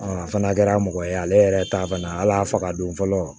a fana kɛra mɔgɔ ye ale yɛrɛ ta fana ala y'a faga don fɔlɔ